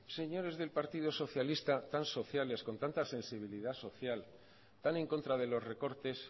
señores del partido socialista tan sociales con tanta sensibilidad social tan en contra de los recortes